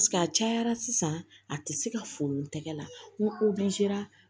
a cayara sisan a te se ka foronto tɛgɛ la ni